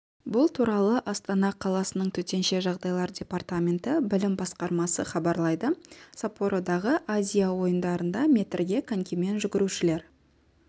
бұл туралы астана қаласының төтенше жағдайлар департаменті білім басқармасы хабарлайды саппородағы азия ойындарында метрге конькимен жүгірушілер